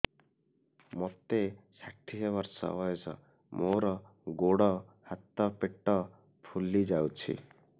ମୋତେ ଷାଠିଏ ବର୍ଷ ବୟସ ମୋର ଗୋଡୋ ହାତ ପେଟ ଫୁଲି ଯାଉଛି